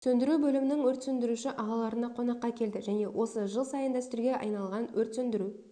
сөндіру бөлімінің өрт сөндіруші ағаларына қонаққа келді және осы жыл сайын дәстүрге айналған өрт сөндіру